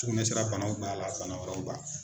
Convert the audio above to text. Sugunɛsira banaw b'a la, bana wɛrɛw b'a la.